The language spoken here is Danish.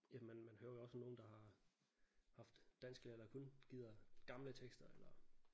Jamen man man hører jo også om nogle der har haft dansklærere der kun gider gamle tekster eller